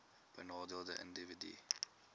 benadeelde individue hbis